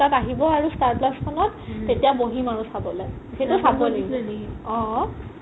দহ তাত আহিব আৰু স্তাৰ plus খনত তেতিয়া বহিম আৰু চাবলে অ